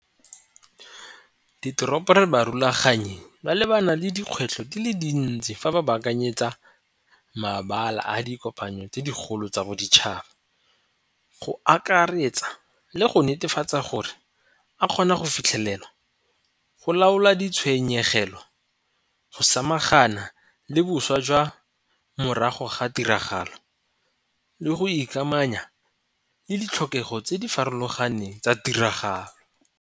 ditoropo re ba rulaganye ba lebana le dikgwetlho di le dintsi fa ba baakanyetsa mabaka a dikopano tse digolo tsa boditšhaba. Go akaretsa le go netefatsa gore a kgone go fitlhelela go laola di tshenyegelo, go samagana le boswa jwa morago ga tiragalo, le go ikamanya le ditlhokego tse di farologaneng tsa tiragalo.